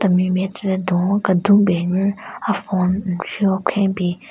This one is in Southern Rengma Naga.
Temi nme tsüle dun-o kedun ben nyu a phone nnri-o khwen bin.